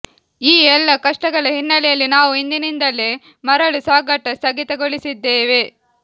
ಈ ಎಲ್ಲಾ ಕಷ್ಟಗಳ ಹಿನ್ನಲೆಯಲ್ಲಿ ನಾವು ಇಂದಿನಿಂದಲೇ ಮರಳು ಸಾಗಾಟ ಸ್ಥಗಿತಗೊಳಿಸಿದ್ದೇವೆ